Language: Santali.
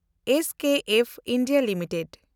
SKF India limited